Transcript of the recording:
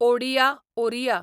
Odia Oriya